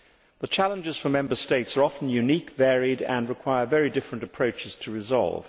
The challenges for the Member States are often unique, varied and require very different approaches to resolve.